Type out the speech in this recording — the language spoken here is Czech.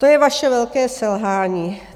To je vaše velké selhání.